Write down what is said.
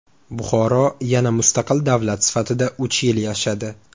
Buxoro yana mustaqil davlat sifatida uch yil yashadi.